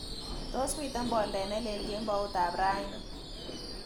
Tos miten boldet nelel kemboutab raini